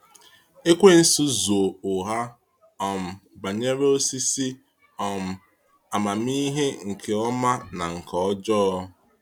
Ekwensu zụ̀ọ̀ ụgha um banyere osisi um amamihe nke ọma na ihe ọjọọ.